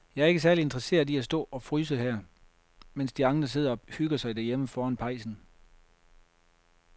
Jeg er ikke særlig interesseret i at stå og fryse her, mens de andre sidder og hygger sig derhjemme foran pejsen.